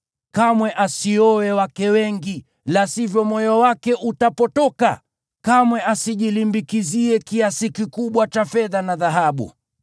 Kamwe asioe wake wengi, la sivyo moyo wake utapotoka. Kamwe asijilimbikizie kiasi kikubwa cha fedha na dhahabu.